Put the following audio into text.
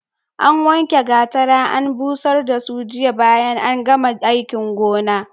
An wanke gwatara an busar da su jiya bayan an gama aikin gona.